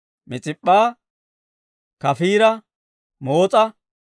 Mis'ip'p'a, Kafiira, Moos'a,